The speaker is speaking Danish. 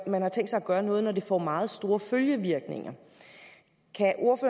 man har tænkt sig at gøre noget når det får meget store følgevirkninger